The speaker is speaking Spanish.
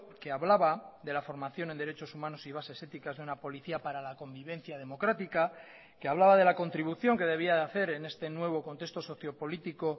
que hablaba de la formación en derechos humanos y bases éticas de una policía para la convivencia democrática que hablaba de la contribución que debía de hacer en este nuevo contexto socio político